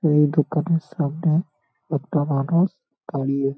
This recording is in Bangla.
এই দোকানের সামনে-এ একটা মানুষ দাঁড়িয়ে ।